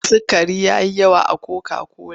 Sukari ya yi yawa a koka-kola.